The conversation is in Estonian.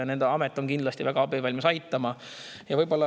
See amet on kindlasti väga abivalmis ja aitab.